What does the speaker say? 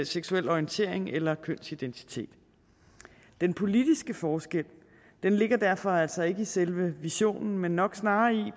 seksuel orientering eller kønsidentitet den politiske forskel ligger derfor altså ikke i selve visionen men nok snarere i